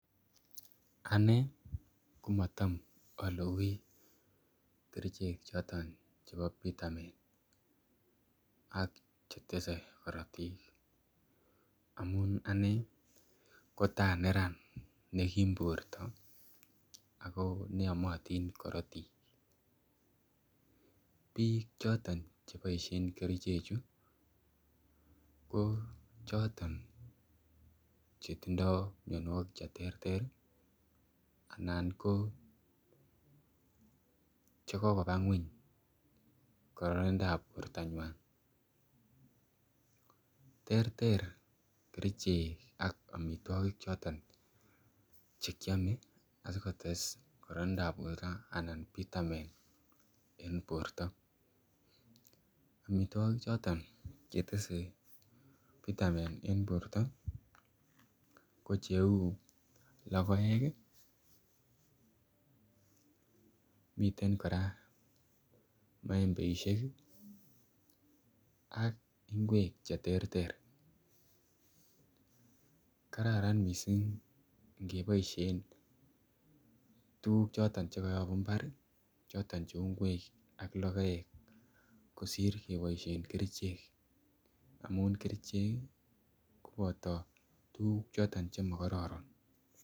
Ane komatam alugui kerichek choton chebo pitamin ak Che tese korotik amun ane kotakoaneran nekim borto ako yomotin korotik bik choton Che boisie kerichechu ko choton Che tindoi mianwogik Che terter anan ko Che kokoba ngwony kararindap bortanywa terter kerichek ak amitwogik Che kiome ak kotes kororonindo ab borto anan pitamin amitwogik choton Che tese pitamin en borto ko Cheu logoek miten kora maembeisiek ak ngwek Che terter kararan mising angeboisien tuguk Che kayobu mbar Cheu ngwek ak logoek kosir keboisien kerichek amun kerichek koboto tuguk choton Che makororon